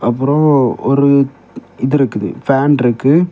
அப்புறம் ஒரு இது இருக்குது ஃபேன் இருக்கு.